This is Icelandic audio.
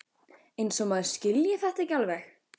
Eins og maður skilji þetta ekki alveg!